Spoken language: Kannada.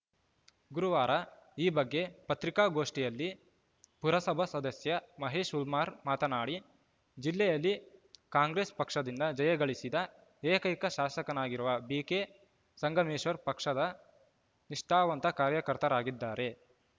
ಗುರುವಾರ ಈ ಬಗ್ಗೆ ಪತ್ರಿಕಾಗೋಷ್ಠಿಯಲ್ಲಿ ಪುರಸಭಾ ಸದಸ್ಯ ಮಹೇಶ್‌ ಹುಲ್ಮಾರ್ ಮಾತನಾಡಿ ಜಿಲ್ಲೆಯಲ್ಲಿ ಕಾಂಗ್ರೆಸ್‌ ಪಕ್ಷದಿಂದ ಜಯಗಳಿಸಿದ ಏಕೈಕ ಶಾಸಕರಾಗಿರುವ ಬಿಕೆ ಸಂಗಮೇಶ್ವರ್‌ ಪಕ್ಷದ ನಿಷ್ಠಾವಂತ ಕಾರ್ಯಕರ್ತರಾಗಿದ್ದಾರೆ